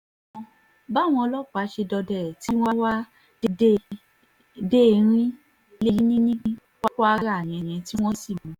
báwọn ọlọ́pàá ṣe dọdẹ ẹ̀ tí wọ́n wá a dé erin-ilẹ̀ ní kwara nìyẹn tí wọ́n sì mú un